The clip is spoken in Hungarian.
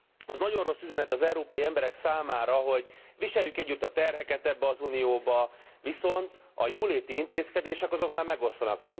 Az nagyon rossz üzenet az európai emberek számára, hogy viseljük együtt a terheket ebbe az Unióba, viszont a jóléti intézkedések azok már megoszlanak.